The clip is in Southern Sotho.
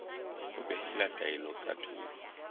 ho behela taelo ka thoko